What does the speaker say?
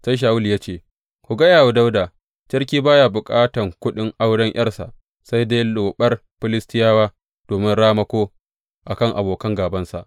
Sai Shawulu ya ce, Ku gaya wa Dawuda, Sarki ba ya bukatan kuɗin auren ’yarsa, sai dai loɓar Filistiyawa domin ramako a kan abokan gābansa.’